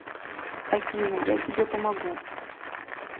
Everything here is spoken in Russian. афина я тебе помогу